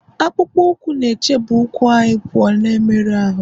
akpụkpọ ụkwụ na-echebe ụkwụ anyị pụọ na mmerụ ahụ